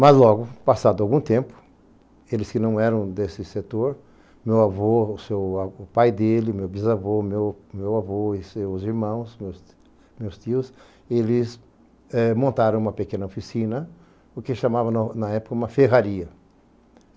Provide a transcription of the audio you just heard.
Mas logo, passado algum tempo, eles que não eram desse setor, meu avô, o seu o pai dele, meu bisavô, meu meu avô e seus irmãos, meus meus tios, eles eh montaram uma pequena oficina, o que chamavam na época uma ferraria.